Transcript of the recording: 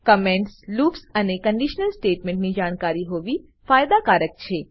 કમેન્ટસલૂપ્સઅને conditional statement ની જાણકારી હોવી ફાયદા કારક છે